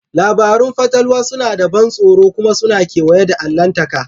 Labarun fatalwa suna da ban tsoro kuma suna kewaye da allahntaka.